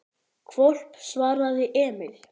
Hvolp, svaraði Emil.